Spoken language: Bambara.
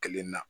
Kelen na